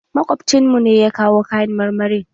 Makwabcin mu ne ya kawo kayan marmarin